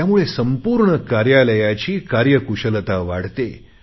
त्यामुळे संपूर्ण कार्यालयाची कार्यकुशलता वाढते